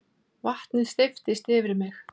Vatnið steypist yfir mig.